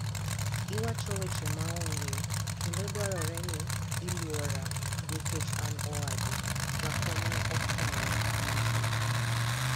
"iwacho weche ma onge endo dwarore ni ilwora nikech an owadu," Jakom ne okwayo Lissu